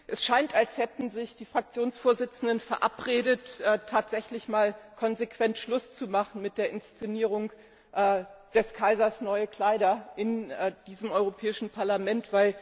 Es scheint, als hätten sich die Fraktionsvorsitzenden verabredet, tatsächlich konsequent Schluss zu machen mit der Inszenierung des Kaisers neue Kleider im Europäischen Parlament.